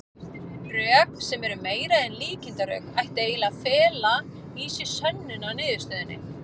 Rök, sem eru meira en líkindarök, ættu eiginlega að fela í sér sönnun á niðurstöðunni.